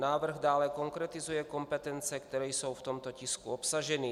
Návrh dále konkretizuje kompetence, které jsou v tomto tisku obsaženy.